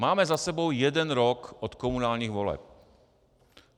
Máme za sebou jeden rok od komunálních voleb.